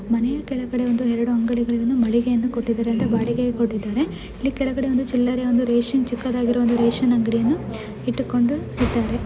ಮನೆ ಕೆಳಗೆ ಒಂದೆರಡು ಅಂಗಡಿಗಳನ್ನು ಬಾಡಿಗೆಗೆ ಕೊಟ್ಟಿದ್ದಾರೆ ಅಂದ್ರೆ ಬಾಡಿಗೆಯನ್ನು ಕೊಟ್ಟಿದ್ದಾರೆ ಅಲ್ಲಿ ಕೆಳಗಡೆ ಒಂದು ರೇಷನ್ ರೇಷನ್ ಅಂಗಡಿ ಒಂದು ಇಟ್ಟುಕೊಂಡು ಇದ್ದಾರೆ.